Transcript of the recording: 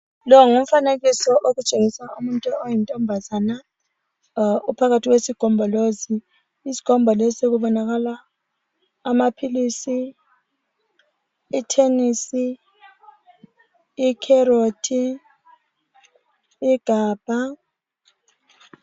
Lo ngumfanekiso otshengisa umuntu oyintombazana, uphakathi kwesigombolozi. Kubonakala amaphilisi, ithenisi, ikherothi, igabha.